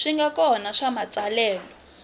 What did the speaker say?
swi nga kona swa matsalelo